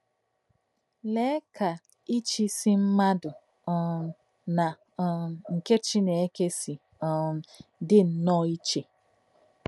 Lèè kà íchíísí mmádụ̀ um nà um nké Chínèkè sì um dì nnọọ ìchè!